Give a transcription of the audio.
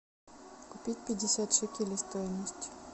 купить пятьдесят шекелей стоимость